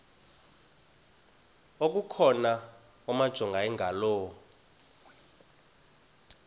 okukhona wamjongay ngaloo